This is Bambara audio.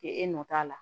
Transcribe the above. K'e e nɔ t'a la